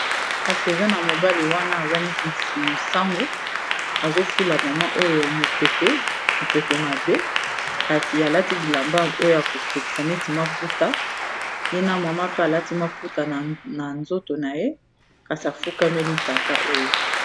kasi eza na mobali wana aza neti mosanbu azofula mama oyo mopepe mabe kasi alati bilamba oyo akosekisa neti maputa ye na mama pe alati maputa na nzoto na ye kasi afukameli tata oyo